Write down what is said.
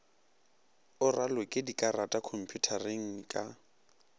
o raloke dikarata khomphutareng ka